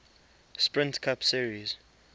sprint cup series